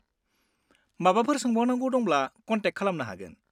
माबाफोर सोंबावनांगौ दंबा कन्टेक्ट खालामनो हागोन।